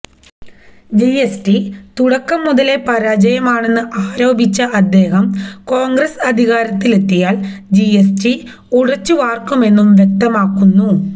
GST തുടക്കം മുതലേ പരാജയമാണന്ന് ആരോപിച്ച അദ്ദേഹം കോൺഗ്രസ് അധികാരത്തിലെത്തിയാൽ ജിഎസ്ടി ഉടച്ചുവാർക്കുമെന്നും വ്യക്തമാതക്കുന്നു